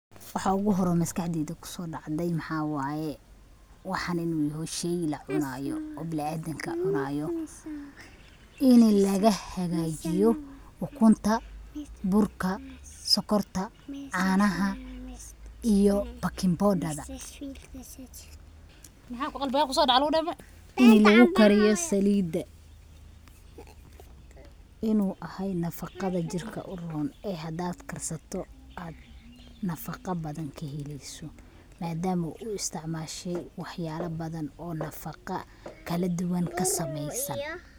Waxa ogu hore o maskaxdeyda kusodacde maxaa wayee, waxan inu yaho shey lacunayo o bilaadanka cunayo, ini laga hagajiyo ukunta, burka, sokorta, canaaha iyo bakin bodaga, ini lagu kariyo salida, inu ahay nafaqaada jirka uron ee hadaad karsato nafaqa bathan kaheleyso, madama aad u isticmashee wax yala bathan o nafaqa kaladuwan kasameysan,